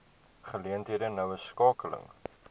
geleenthede noue skakeling